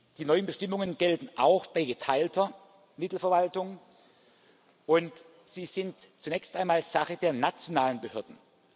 Die neuen Bestimmungen gelten auch bei geteilter Mittelverwaltung, und sie sind zunächst einmal Sache der nationalen Behörden.